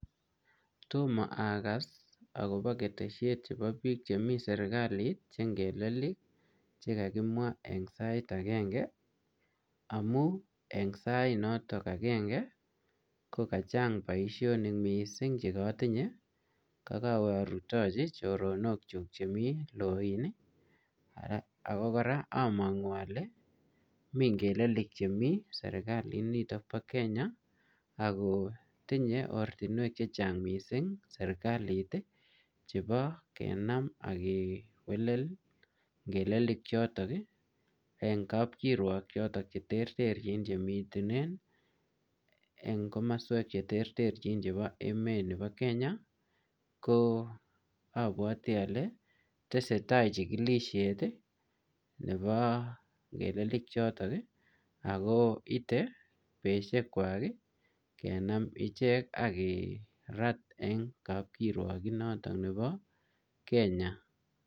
Tomo akas akobo ketesiet chebo bik chemi sirkali chengeleli chekakimwa en sait agenge amun en sainotok agenge kokachang boisionik missing' chekotinye kokowe orutochi choronokchuk chemi Loin ii ako koraa omongu ole mi ngelelik chemi sirkaliniton bo Kenya ako tinye ortinwek chechang missing' sirkalit ii chebo kenam ak kewelel ngelelichotk en kapkiruok choton cheterterjin chemiten en komoswek cheterterjin chebo emet nebo Kenya, ko obwoti ole tesetaa chikilisiet nebo ngelelikchoton ako ite betushekwak kenam ichek ak kerat en kapkiruok inoton nebo Kenya.